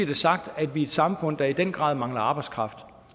det sagt at vi er et samfund der i den grad mangler arbejdskraft